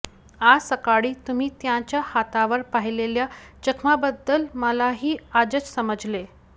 आज सकाळी तुम्ही त्यांच्या हातावर पाहिलेल्या जखमांबद्दल मलाही आजच समजले